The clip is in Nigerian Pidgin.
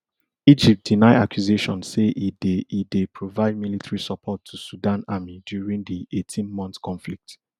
egypt deny accusations say e dey e dey provide military support to sudan army during di eighteenmonth conflict